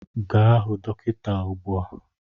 Gaa hụ dọkịta ugbu a!